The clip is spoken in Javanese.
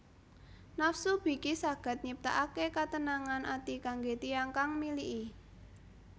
Nafsu biki saged nyiptaake ketenangan ati kangge tiyang kang miliki